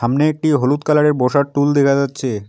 সামনে একটি হলুদ কালার -এর বসার টুল দেখা যাচ্ছে।